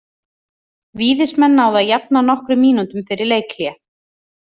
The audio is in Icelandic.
Víðismenn náðu að jafna nokkrum mínútum fyrir leikhlé.